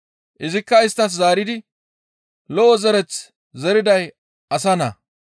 Izikka isttas zaaridi, «Lo7o zereth zeriday Asa Naa.